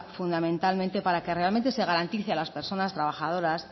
fundamentalmente para que realmente se garantice a las personas trabajadoras